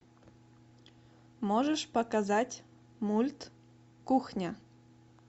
можешь показать мульт кухня